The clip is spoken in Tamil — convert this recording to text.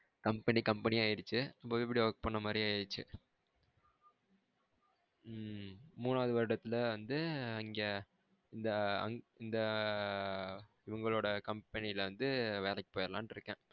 company company யா ஆகிடுச்சு நம்ம போய் அப்டியே work பண்ண மாறியும் ஆகிடுச்ச உம் மூனாவது வருடத்துல வந்து அங்க இந்த இந்த இவங்களோட கம்பெனில இருந்து வேலைக்கு போய்டலனுண்டு இருக்கேன்.